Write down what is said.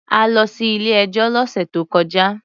A lọ sí ilé-ẹjọ́ lọ́sè tó kọjá.